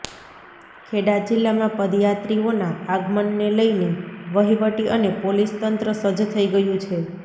ખેડા જિલ્લામાં પદયાત્રિઓના આગમનને લઈને વહીવટી અને પોલીસ તંત્ર સજ્જ થઈ ગયું છે